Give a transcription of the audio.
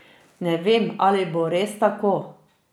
Ne vem, ali bo res tako.